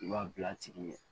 I b'a bila tigi